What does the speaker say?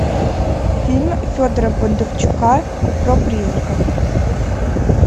фильм федора бондарчука про призраков